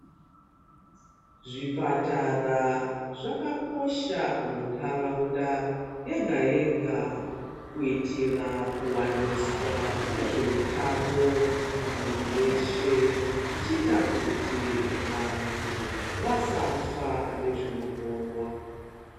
Zvipatara zvakakosha mundaraunda yega yega kuitira kuwaniswa kwezveutano kumundu weshe zvichiita kuti vandu vasafa nezvinoponwa.